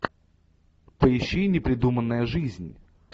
поищи непридуманная жизнь